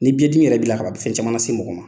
Ni biɲɛdimi yɛrɛ bila kaban a bɛ fɛn caman lase mɔgɔ ma.